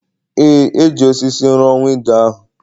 Ee, e ji osisi rụọ windo ahụ